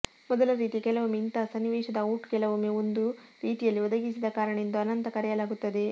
ಮೊದಲ ರೀತಿಯ ಕೆಲವೊಮ್ಮೆ ಇಂತಹ ಸನ್ನಿವೇಶದ ಔಟ್ ಕೆಲವೊಮ್ಮೆ ಒಂದು ರೀತಿಯಲ್ಲಿ ಒದಗಿಸಿದ ಕಾರಣ ಎಂದು ಅನಂತ ಕರೆಯಲಾಗುತ್ತದೆ